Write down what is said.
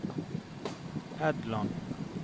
Edland